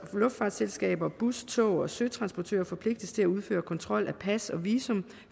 luftfartsselskaber bus tog og søtransportører forpligtes til at udføre kontrol af pas og visum